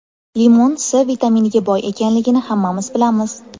Limon C vitaminiga boy ekanligini hammamiz bilamiz.